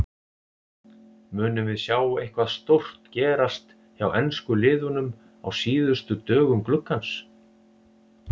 Munum við sjá eitthvað stórt gerast hjá ensku liðunum á síðustu dögum gluggans?